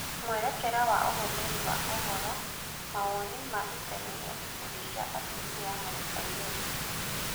Mwerekera wa ũhũthĩri wa ũhoro, mawoni ma itemi rĩa ikundi cia atumia harĩ airĩtu